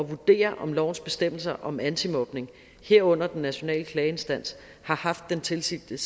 vurdere om lovens bestemmelser om antimobning herunder den nationale klageinstans har haft den tilsigtede